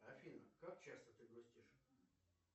афина как часто ты грустишь